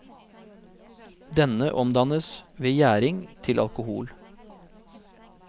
Denne omdannes ved gjæring til alkohol.